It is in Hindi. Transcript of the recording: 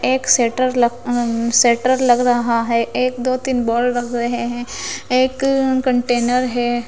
एक सेटर ल अम्म सेटर लग रहा है एक दो तीन बॉल लग रहे हैं एक अं कंटेनर है।